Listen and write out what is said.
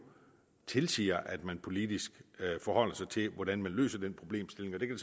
tilsiger at man politisk forholder sig til hvordan man løser den problemstilling og det kan